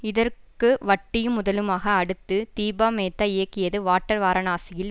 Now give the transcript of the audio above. இதற்கு வட்டியும் முதலுமாக அடுத்து தீபாமேத்தா இயக்கியது வாட்டர் வாரணாசியில்